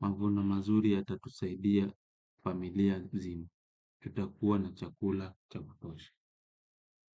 Mavuno mazuri yatatusaidia familia nzima. Tutakua na chakula cha kutosha.